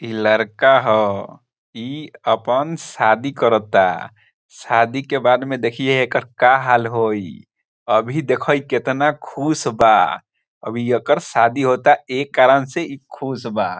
इ लड़का ह इ अपन शादी करता शादी के बाद में देखिये एकर का हाल होई अभी देख इ केतना खुश बा अभी एकर शादी होता ए कारण से इ खुश बा।